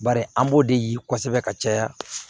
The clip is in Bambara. Bari an b'o de ye kosɛbɛ ka caya